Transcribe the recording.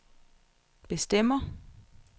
bestemmer